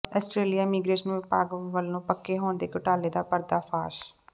Australia immigration ਵਿਭਾਗ ਵੱਲੋਂ ਪੱਕੇ ਹੋਣ ਦੇ ਘੁਟਾਲੇ ਦਾ ਪਰਦਾ ਫਾਸ਼